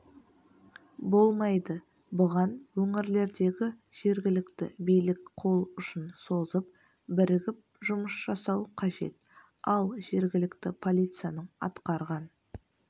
болмайды бұған өңірлердегі жергілікті билік қолұшын созып бірігіп жұмыс жасау қажет ал жергілікті полицияның атқарған